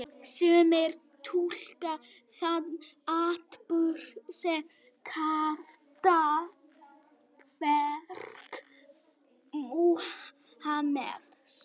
Sumir túlka þann atburð sem kraftaverk Múhameðs.